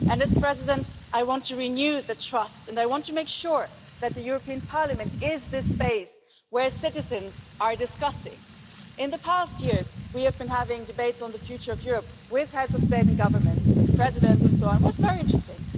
And as President I want to renew the trust and I want to make sure that the European Parliament is the space where citizens are discussing. In the past few years we have been having debates on the future of Europe with heads of state and government, with presidents and so on, and this has been very interesting.